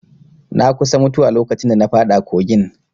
Na kusa mutuwa lokacin da na faɗa kogin